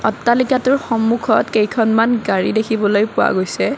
অট্টালিকাটোৰ সম্মুখত কেইখনমান গাড়ী দেখিবলৈ পোৱা গৈছে।